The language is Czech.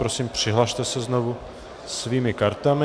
Prosím přihlaste se znovu svými kartami.